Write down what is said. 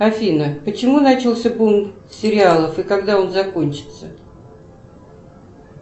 афина почему начался бум сериалов и когда он закончится